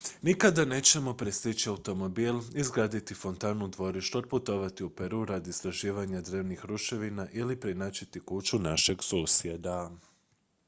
nikada nećemo prestići automobil izgraditi fontanu u dvorištu otputovati u peru radi istraživanja drevnih ruševina ili preinačiti kuću našeg susjeda